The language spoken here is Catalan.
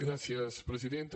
gràcies presidenta